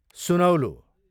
सुनौलो